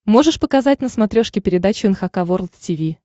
можешь показать на смотрешке передачу эн эйч кей волд ти ви